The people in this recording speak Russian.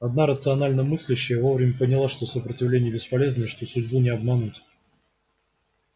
одна рационально мыслящая вовремя поняла что сопротивление бесполезно и что судьбу не обмануть